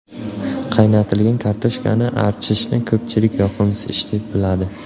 Qaynatilgan kartoshkani archishni ko‘pchilik yoqimsiz ish deb biladi.